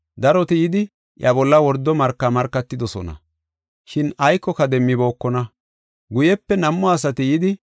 Daroti yidi iya bolla wordo marka markatidosona, shin aykoka demmibookona. Guyepe nam7u asati yidi,